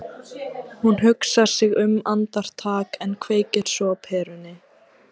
Hún hugsar sig um andartak en kveikir svo á perunni.